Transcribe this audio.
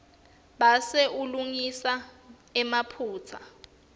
bese ulungisa emaphutsa